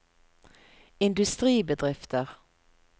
industribedrifter